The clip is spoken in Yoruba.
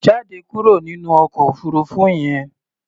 Jáde kúrò nínú ọkọ̀ òfuurufú yẹn!